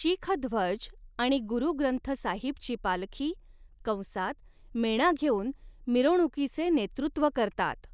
शीख ध्वज, आणि गुरु ग्रंथ साहिबची पालखी कंसात मेणा घेऊन, मिरवणुकीचे नेतृत्व करतात.